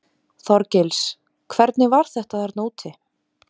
Þorgils: Hvernig var þetta þarna úti?